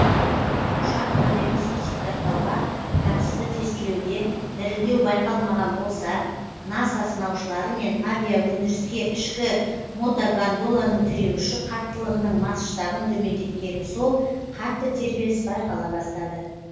ұшақ моделін сертификаттауға қатысты тестілеуде дірілдеу байқалмаған болса наса сынаушылары мен авиаөндіріске ішкі мотогондоланың тіреуіші қаттылығының масштабын төмендеткені сол қатты тербеліс байқала бастады